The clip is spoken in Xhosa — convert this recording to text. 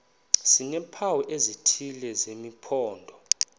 sineempawu ezithile zesimpondo